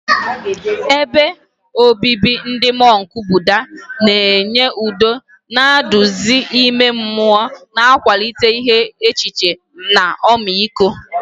Ebe obibi ndị mọnk Buddha na-enye udo na nduzi ime mmụọ, na-akwalite iche echiche na ọmịiko.